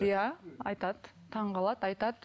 иә айтады таңғалады айтады